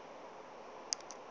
o be a sa rate